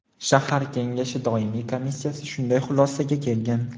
Shahar kengashi doimiy komissiyasi shunday xulosaga kelgan.